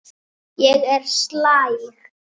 Ég er slæg.